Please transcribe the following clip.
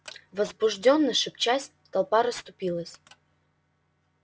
возбуждённо шепчась толпа расступилась